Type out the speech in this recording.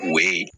U bɛ